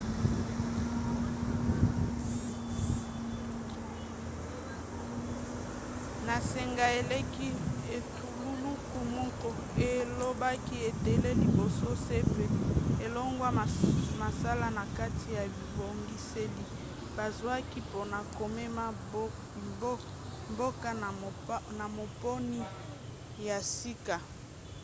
na sanza eleki etuluku moko elobaki ete liboso cep alongwa mosala na kati ya bibongiseli bazwaki mpona komema mboka na maponi ya sika